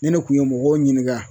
Ni ne kun ye mɔgɔw ɲininGa